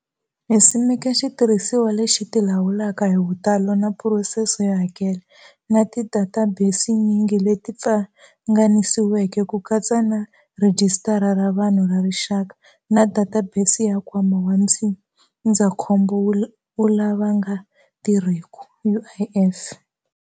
Hi simeke xitirhisiwa lexi tilawulaka hi vutalo na phurosese yo hakela, na tidatabesinyingi leti pfanganisiweke, ku katsa na Rhijisitara ra Vanhu ra Rixaka na databesi ya Nkwama wa Ndzindzakhombo wa lava nga Tirhiki, UIF.